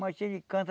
Matinho de canta...